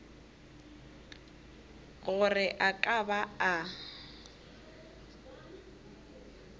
gore a ka ba a